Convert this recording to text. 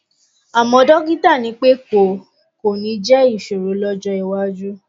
àmọ dọkítà ní pé kò kò ní jẹ ìṣòro lọjọ iwájú